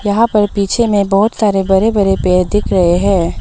यहां पर पीछे में बहोत सारे बरे बरे पेर दिख रहे हैं।